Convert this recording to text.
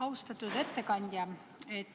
Austatud ettekandja!